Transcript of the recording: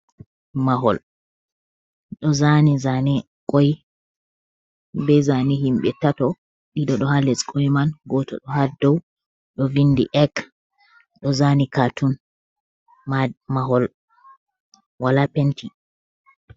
Mahol ɗo zani zane koy be zane himbe tato, ɗiɗo ɗo ha les koy man goto ɗo ha dow, ɗo vindi egg ɗo zani katun mahol wala penti.